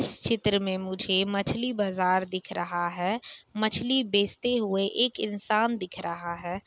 इस चित्र में मुझे मछली बाजार दिख रहा है। मछली बेचते हुए एक इंसान दिख रहा है।